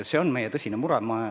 See on meie tõsine mure.